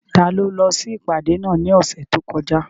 Taló lọ sí ìpàdé náà ní ọ̀sẹ̀ tó kọjá?